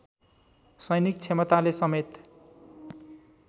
सैनिक क्षमताले समेत